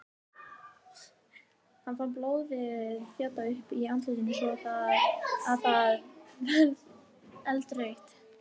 Hann fann blóðið þjóta upp í andlitið svo að það varð eldrautt.